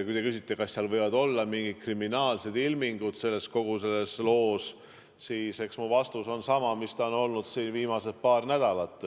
Kui te küsite, kas võivad olla mingid kriminaalsed ilmingud kogu selles loos, siis eks mu vastus ole sama, mis ta on olnud viimased paar nädalat: